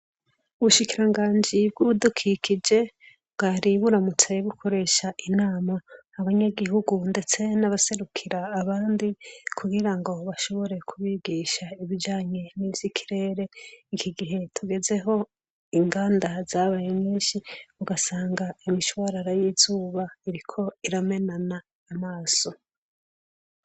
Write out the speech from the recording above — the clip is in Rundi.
Ubushikiranganji bw'ibidukikije bwari buramutse bukoresha inama abanyagihugu , ndetse n'abaserukira abandi, kugira ngo bashobore kubigisha ibijanye n'ivy' ikirere. Iki gihe tugezeho inganda zabaye nyinshi ugasanga imishwarara y'izuba iriko iramenana amaso.